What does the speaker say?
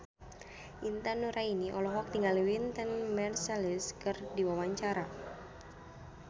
Intan Nuraini olohok ningali Wynton Marsalis keur diwawancara